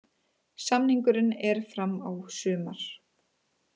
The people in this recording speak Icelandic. Samningurinn er fram á sumar.